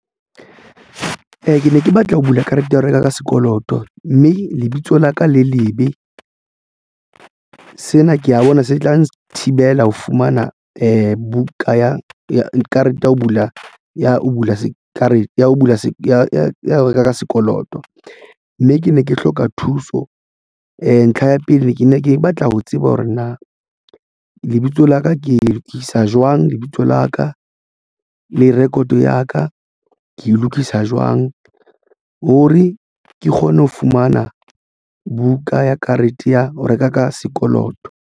Ke ne ke batla ho bula karete ya ho reka ka sekoloto mme lebitso la ka le lebe sena ke ya bona se tla nthibela ho fumana buka ya karete ya ho bula ya ho bula karete ya ho reka ka sekoloto mme ke ne ke hloka thuso. Ntlha ya pele ne ke ne ke batla ho tseba hore na lebitso laka ke isa jwang lebitso la ka le record ya ka ke e lokisa jwang? Ho re ke kgone ho fumana buka ya karete ya ho reka ka sekoloto.